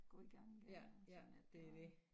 Gå i gang igen og sådan lidt og